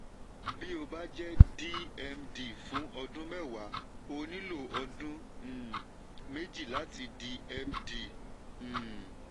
tí o bá jẹ́ dmd fún ọdún mẹ́wàá o nílò ọdún um méjì láti di md. um